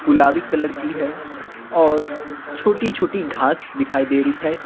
गुलाबी कलर की है और छोटी-छोटी घास दिखाई दे रही है।